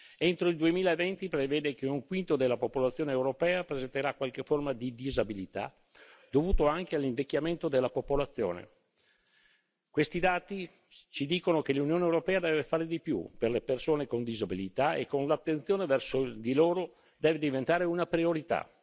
Entro il 2020 si prevede che un quinto della popolazione europea presenterà qualche forma di disabilità dovuta anche all'invecchiamento della popolazione. Questi dati ci dicono che l'Unione europea deve fare di più per le persone con disabilità e l'attenzione verso di loro deve diventare una priorità.